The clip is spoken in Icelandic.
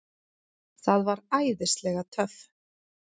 Það var æðislega töff.